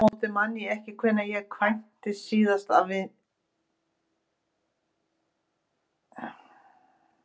Aftur á móti man ég ekki hvenær ég kættist síðast af víni.